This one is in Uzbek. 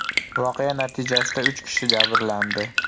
Voqea natijasida uch kishi jabrlandi.